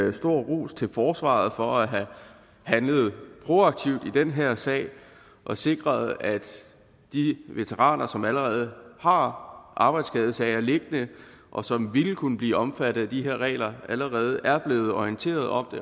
en stor ros til forsvaret for at have handlet proaktivt i den her sag og sikret at de veteraner som allerede har arbejdsskadesager liggende og som ville kunne blive omfattet af de regler allerede er blevet orienteret om